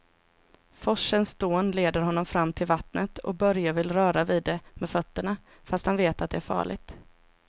Forsens dån leder honom fram till vattnet och Börje vill röra vid det med fötterna, fast han vet att det är farligt.